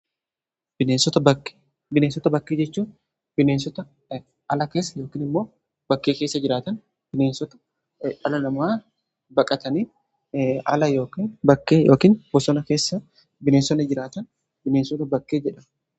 bineensota bakkee jechuun bineensota ala keessa yookiin immoo bakkee keessa jiraatan bineensota ala nama baqatanii kan bosona keessa bineensota jiraatan bineensota bakkee jedhamu.